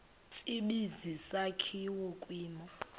tsibizi sakhiwa kwimo